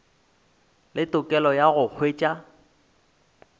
le tokelo ya go hwetša